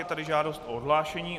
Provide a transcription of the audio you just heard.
Je tady žádost o odhlášení.